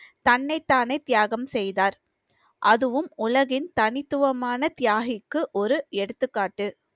தன்னைத்தானே தியாகம் செய்தார் அதுவும் உலகின் தனித்துவமான தியாகிக்கு ஒரு எடுத்துக்காட்டு